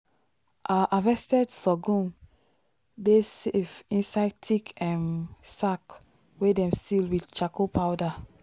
our harvested sorghum dey safe inside thick um sack wey dem seal with charcoal powder.